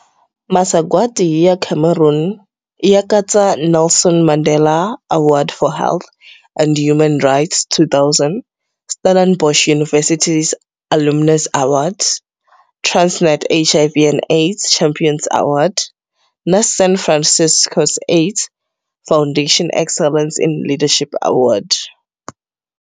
Masagwati ya Cameron ya katsa Nelson Mandela Award for Health and Human Rights, 2000, Stellenbosch University's Alumnus Award, Transnet's HIV and AIDS Champions Award, na San Francisco AIDS Foundation Excellence in Leadership Award.